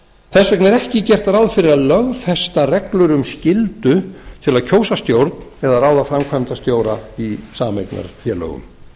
þess vegna er ekki gert ráð fyrir að lögfesta reglur um skyldu til að kjósa stjórn eða ráða framkvæmdastjóra í sameignarfélögum